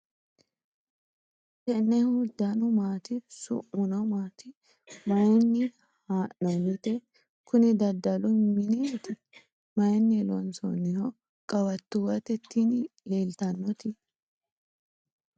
tennehu danu maati ? su'muno maati ? maayinni haa'noonnite ? kuni daddalu mineeti . maynni loonsoonniho ? qawattuwate tini leeltannoti ?